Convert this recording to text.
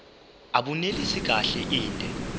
abunelisi kahle inde